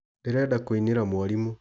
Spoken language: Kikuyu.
ndĩrenda kũinĩra mwarimũ.